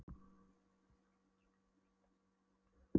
Neðan þessara marka tekur hitastigið að hækka með dýpinu.